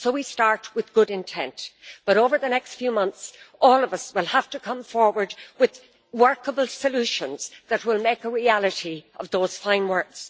So we start with good intent, but over the next few months all of us will have to come forward with workable solutions that will make a reality of those fine words.